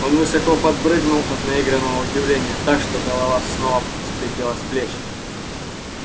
он высоко подпрыгнул от наигранного удивления так что голова снова слетела с плеч